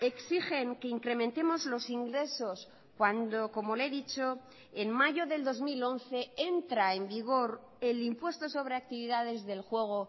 exigen que incrementemos los ingresos cuando como le he dicho en mayo del dos mil once entra en vigor el impuesto sobre actividades del juego